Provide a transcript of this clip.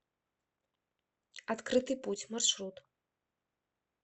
открытый путь маршрут